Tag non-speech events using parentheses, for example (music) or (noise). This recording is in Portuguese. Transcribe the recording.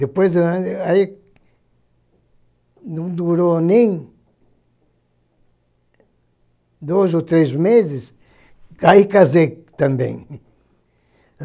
Depois de um ano, aí não durou nem dois ou três meses, aí casei também. (laughs)